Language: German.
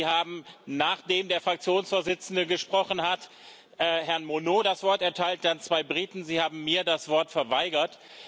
Sie haben, nachdem der Fraktionsvorsitzende gesprochen hat, Herrn Monot das Wort erteilt, dann zwei Briten, Sie haben mir das Wort verweigert.